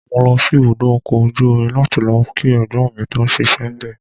Mo lọ sí ibùdó ọkọ̀ ojú omi láti lọ kí Ẹ̀gbọ́n mi tó ń ṣíṣe níbẹ̀.